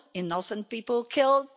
innocent people killed